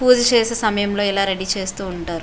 పూజ చేసే సమయంలో ఇలా రెడీ చేస్తూ ఉంటారు.